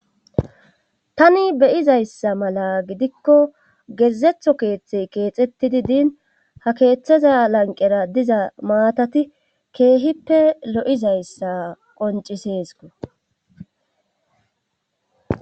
tani beyizayssa mala gidikko gezetho keeththe keexettidi diin ha keeththaza lanqera diza maatati keehippe lo7izayssa qonciseesko